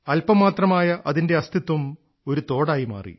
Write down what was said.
അല്പമാത്രമായ അതിന്റെ അസ്തിത്വം ഒരു തോട് ആയി മാറി